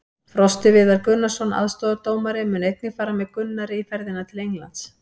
Frosti Viðar Gunnarsson, aðstoðardómari, mun einnig fara með Gunnari í ferðina til Englands.